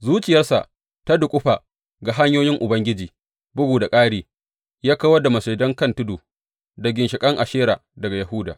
Zuciyarsa ta duƙufa ga hanyoyin Ubangiji, bugu da ƙari, ya kawar masujadan kan tudu da ginshiƙan Ashera daga Yahuda.